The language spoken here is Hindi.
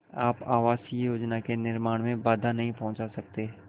आप आवासीय योजना के निर्माण में बाधा नहीं पहुँचा सकते